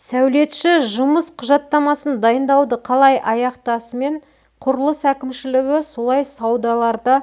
сәулетші жұмыс құжаттамасын дайындауды қалай аяқтасымен құрылыс әкімшілігі солай саудаларда